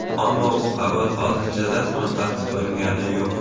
Ammo bu xabar hozircha rasman tasdiqlangani yo‘q.